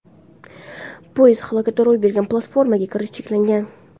Poyezd halokati ro‘y bergan platformaga kirish cheklangan.